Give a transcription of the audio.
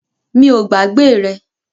Mi o gbàgbé rẹ